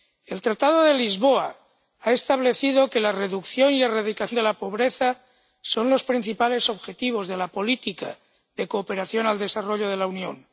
El Tratado de Lisboa ha establecido que la reducción y erradicación de la pobreza son los principales objetivos de la política de cooperación al desarrollo de la Unión